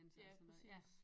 Ja præcis